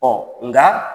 Ɔ nka